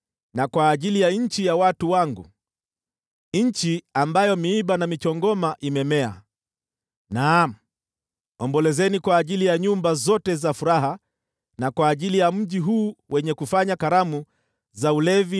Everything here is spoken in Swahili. na kwa ajili ya nchi ya watu wangu, nchi ambayo miiba na michongoma imemea: naam, ombolezeni kwa ajili ya nyumba zote za furaha na kwa ajili ya mji huu wenye kufanya sherehe.